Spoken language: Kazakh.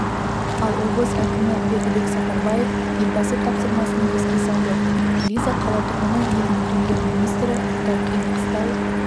ал облыс әкімі бердібек сапарбаев елбасы тапсырмасын еске салды элиза қала тұрғыны елдің премьер-министрі мұндай қиын-қыстау